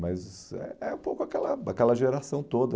Mas é é um pouco aquela aquela geração toda.